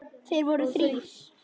Þeir voru þrír.